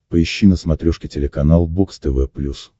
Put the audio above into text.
поищи на смотрешке телеканал бокс тв плюс